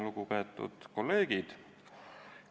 Lugupeetud kolleegid!